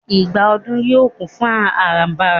igba odù yíò kún fún arambara